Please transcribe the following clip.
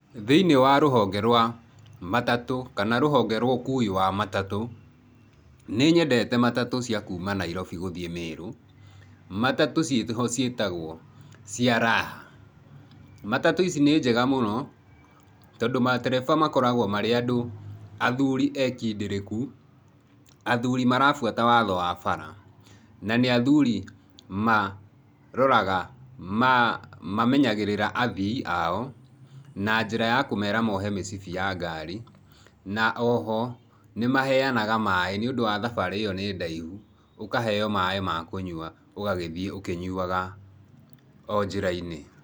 Thĩinĩ wa rũhonge rwa matatũ, kana rũhonge rwa ũkuui wa matatũ, nĩnyendete matatũ cia kuma Nairobi gũthiĩ Mĩrũ, matatũ ciĩho ciĩtagwo cia raha. Matatũ ici nĩ njega mũno tondũ matereba makoragwo marĩ andũ athuri ekindereku, athuri marabuata watho wa bara na nĩ athuri maroraga, mamenyagĩrĩra athii ao na njĩra ya kũmera mohe mĩcibi ya ngari, na oho nĩ maheanaga maĩ nĩ ũndũ thabarĩ ĩyo nĩ ndaihu, ũkaheo maĩ ma kũnyua ũgagĩthiĩ ũkĩnyuaga o njĩrai-inĩ.